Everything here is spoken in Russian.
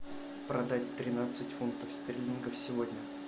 продать тринадцать фунтов стерлингов сегодня